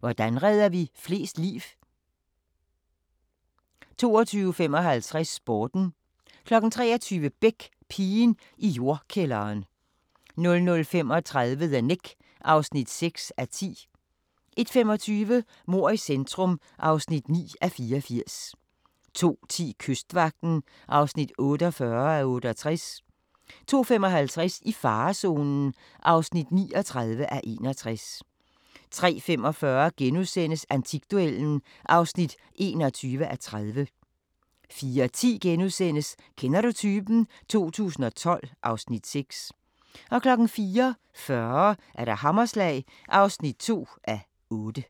Hvordan redder vi flest liv? 22:55: Sporten 23:00: Beck: Pigen i jordkælderen 00:35: The Knick (6:10) 01:25: Mord i centrum (9:84) 02:10: Kystvagten (48:68) 02:55: I farezonen (39:61) 03:45: Antikduellen (21:30)* 04:10: Kender du typen? 2012 (Afs. 6)* 04:40: Hammerslag (2:8)